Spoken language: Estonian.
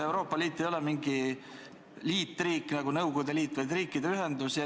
Euroopa Liit ei ole mingi liitriik, nagu oli Nõukogude Liit, vaid riikide ühendus.